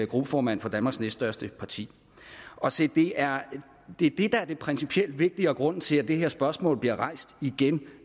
gruppeformand for danmarks næststørste parti se det er det der er det principielt vigtige og grunden til at det her spørgsmål bliver rejst igen